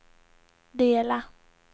dela